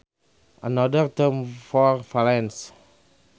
Another term for valence